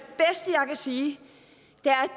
sige